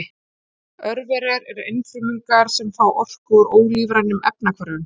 Örverur eru einfrumungar sem fá orku úr ólífrænum efnahvörfum.